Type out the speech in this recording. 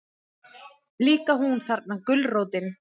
Líka hún, þarna gulrótin.